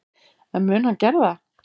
En mun hann gera það?